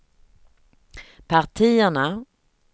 partierna